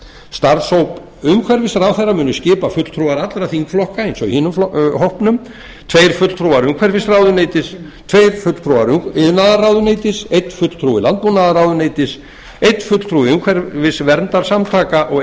starfshóp umhverfisráðherra munu skipa fulltrúar allra þingflokka eins og í hinum hópnum tveir fulltrúar umhverfisráðuneytis tveir fulltrúar iðnaðarráðuneytis einn fulltrúi landbúnaðarráðuneytis einn fulltrúi umhverfisverndarsamtaka og